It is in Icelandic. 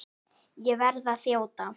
Ég verð að þjóta.